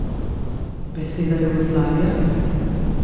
Beseda Jugoslavija?